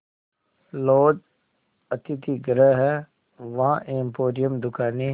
laws अतिथिगृह हैं वहाँ एम्पोरियम दुकानें